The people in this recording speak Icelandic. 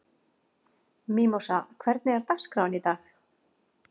Mímósa, hvernig er dagskráin í dag?